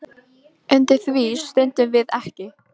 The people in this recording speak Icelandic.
Undir því stöndum við ekki